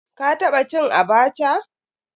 Ka taba cin "Abacha"?